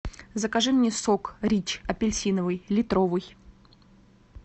закажи мне сок рич апельсиновый литровый